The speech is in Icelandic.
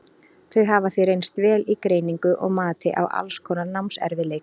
þau hafa því reynst vel í greiningu og mati á alls konar námserfiðleikum